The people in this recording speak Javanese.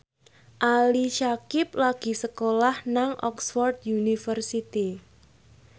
Ali Syakieb lagi sekolah nang Oxford university